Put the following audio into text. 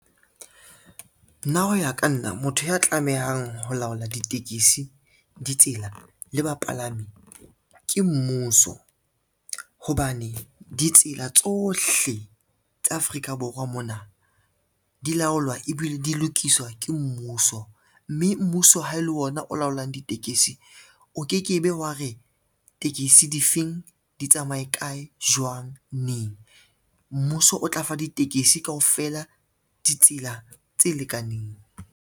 Nna ho ya ka nna motho ya tlamehang ho laola ditekesi, ditsela le bapalami ke mmuso, hobane ditsela tsohle tsa Afrika Borwa mona di laolwa ebile di lokiswa ke mmuso, mme mmuso ha e le ona o laolang ditekesi o ke ke be wa re tekesi difeng di tsamaye kae, jwang, neng, mmuso o tla fa ditekesi kaofela ditsela tse lekaneng.